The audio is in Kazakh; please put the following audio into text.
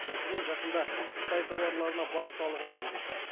мәселен жақында қытай тауарларына баж салығын енгізді